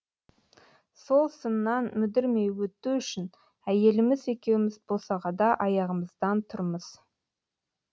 сол сыннан мүдірмей өту үшін әйеліміз екеуміз босағада аяғымыздан тұрмыз